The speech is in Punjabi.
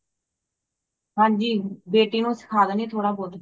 ਹਾਂਜੀ ਬੇਟੀ ਨੂੰ ਸਿੱਖਾਂ ਦੇਂਦੀ ਹੈ ਧੋੜਾ ਬਹੁਤ